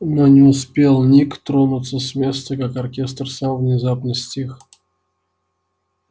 но не успел ник тронуться с места как оркестр сам внезапно стих